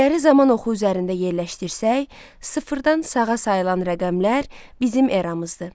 İlləri zaman oxu üzərində yerləşdirsək, sıfırdan sağa sayılan rəqəmlər bizim eramızdır.